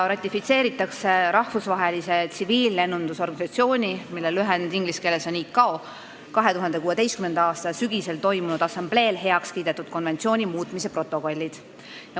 Ratifitseeritakse Rahvusvahelise Tsiviillennunduse Organisatsiooni 2016. aasta sügisel toimunud assambleel heaks kiidetud konventsiooni muutmise protokollid.